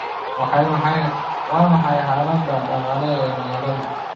Waa maxay xaalada dhaqaale ee magaaladu?